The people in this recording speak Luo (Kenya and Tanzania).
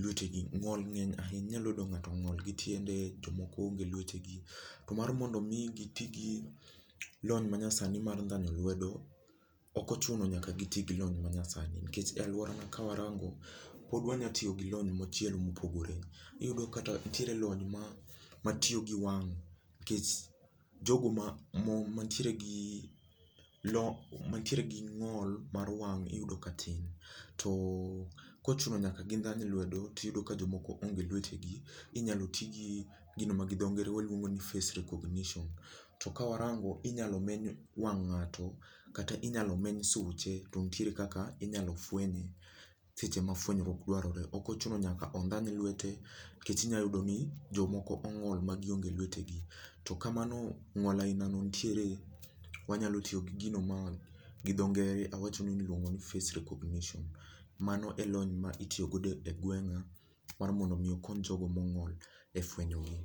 luete gi. Ng'ol ng'eny ahinya inyalo yudo ng'ato ong'ol gi tiende, jomoko onge luete gi. To mar mondo mi gi tii gi lony manyasani mar ndhanyo luedo, ok ochuno nyaka giti gi lony ma nyasani nikech e alworana kawarango, pod wanyatiyo gi lony machielo, mopogore iyudo kata nitiere lony ma matiyo gi wang' kech jogo ma mo mantiere gi lony mantiere gi ng'ol mar wang' iyudo ka tin. To kochuno nyaka gindhany luedo, tiyudo ka jomoko onge gi luetegi inyalo ti gi gino ma gi dho ngere waluongo ni face recognition. To kawarango inyal meny wang' ng'ato, kata inyalo meny suche to nitiere kaka inyalo fwenye seche ma fwenyruok dwarore, ok ochuno nyaka ondhany lwete kech inyayudo ni jomoko ong'ol ma gionge lwete gi to kamano ng'ol ailano nitiere, wanyalo tiyo gi gino ma gi dho ngere awachonu ni iluongo ni [csface recognition. Mano e lony ma itiyo godo e gweng'a mar mondo mi okony jogo mong'ol e fwenyogi